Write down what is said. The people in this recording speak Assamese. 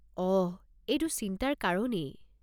অহ, এইটো চিন্তাৰ কাৰণেই।